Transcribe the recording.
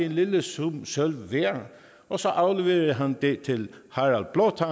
en lille sum sølv og så afleverede han det til harald blåtand